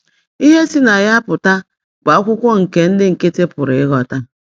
Ihe si na ya pụta bụ akwụkwọ nke ndị nkịtị pụrụ ịghọta.